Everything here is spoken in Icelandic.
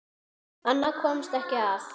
Annað komst ekki að!